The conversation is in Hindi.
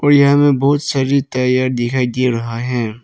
और यहाँ पर बहुत सारी टायर दिखाई दे रहा है।